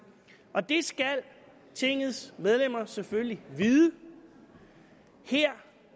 og det skal tingets medlemmer selvfølgelig vide her